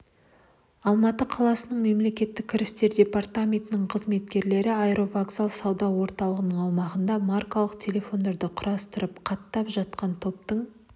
алматы қаласының мемлекеттік кірістер департаменті қызметкерлері аэровокзал сауда орталығы аумағынан маркалы телефондар құрастырып қаттап жатқан топтың